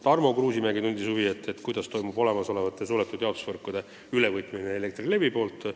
Tarmo Kruusimäe tundis huvi, kuidas võtab Elektrilevi üle olemasolevaid suletud jaotusvõrkusid.